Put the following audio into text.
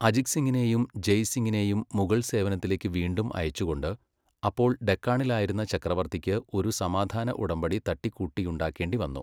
അജിത് സിങിനെയും ജയ് സിങിനെയും മുഗൾസേവനത്തിലേക്ക് വീണ്ടും അയച്ചുകൊണ്ട്, അപ്പോൾ ഡെക്കാണിലായിരുന്ന ചക്രവർത്തിക്ക് ഒരു സമാധാന ഉടമ്പടി തട്ടിക്കൂട്ടിയുണ്ടാക്കേണ്ടിവന്നു.